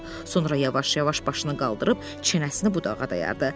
Sonra yavaş-yavaş başını qaldırıb çənəsini budağa dayadı.